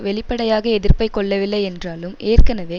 வெளிப்படையாக எதிர்ப்பை கொள்ளவில்லை என்றாலும் ஏற்கனவே